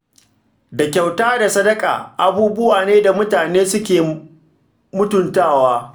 Da kyauta da sadaka, abubuwa ne da mutane suke mutuntawa.